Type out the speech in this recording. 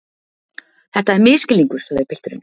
Þetta er misskilningur, sagði pilturinn.